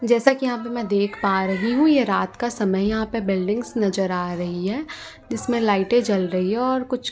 जैसा कि यहां पे मैं देख पा रही हूं ये रात का समय यहां पे बिल्डिंग्स नजर आ रही हैं जिसमें लाइटें जल रही है और कुछ--